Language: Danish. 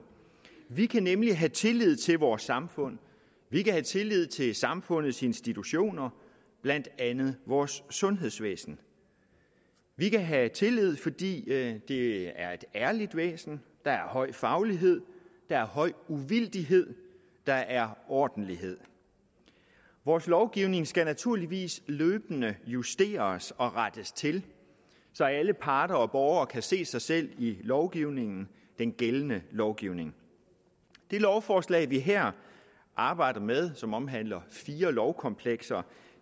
vi kan nemlig have tillid til vores samfund vi kan have tillid til samfundets institutioner blandt andet vores sundhedsvæsen vi kan have tillid fordi det det er et ærligt væsen der er høj faglighed der er høj uvildighed der er ordentlighed vores lovgivning skal naturligvis løbende justeres og rettes til så alle parter og borgere kan se sig selv i lovgivningen den gældende lovgivning det lovforslag vi her arbejder med som omhandler fire lovkomplekser